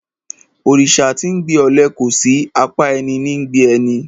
Òrìsà tí 'ńgbe ọle kòsí; apá ẹní ní ńgbe ni.